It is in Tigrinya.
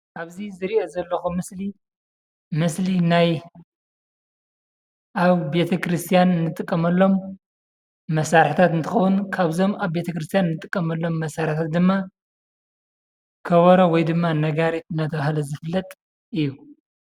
ኣብዚ ዝሪኦ ዘለኹ ምስሊ ምስሊ ናይ ኣብ ቤተ ክርስቲያን እንጥቀመሎም መሳርሕታት እንትኸውን ካብዞም ኣብ ቤተ ክርስቲያን ንጥቀመሎም መሳርሕታት ድማ ከበሮ ወይ ድማ ነጋሪት እናተባህለ ዝፍለጥ እዩ፡፡